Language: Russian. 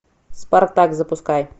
спартак запускай